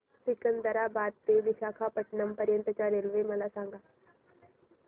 सिकंदराबाद ते विशाखापट्टणम पर्यंत च्या रेल्वे मला सांगा